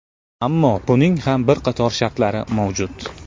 Ammo buning ham bir qator shartlari mavjud.